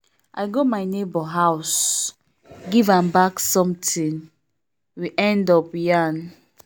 i go my neighbor house give am back sometin we end up yarn.